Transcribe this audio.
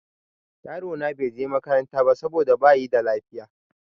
Yaro na bai je makaranta ba saboda bayi da lafiya.